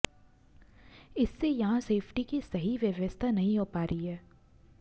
इससे यहां सेफ्टी की सही व्यवस्था नहीं हो पा रही है